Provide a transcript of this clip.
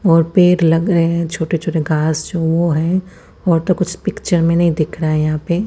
और पेड़ लग रहे है छोटे छोटे गाछ जो वो है और तो कुछ पिकचर में नहीं दिख रहा है यहाँ पे --